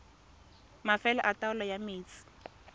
mafelo a taolo ya metsi